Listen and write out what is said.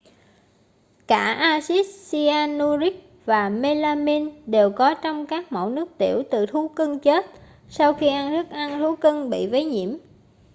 cả axit cyanuric và mêlamin đều có trong các mẫu nước tiểu từ thú cưng chết sau khi ăn thức ăn thú cưng bị vấy nhiễm